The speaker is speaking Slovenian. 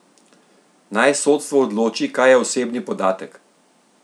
Naj sodstvo odloči, kaj je osebni podatek!